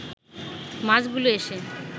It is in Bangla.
মাছগুলো এসে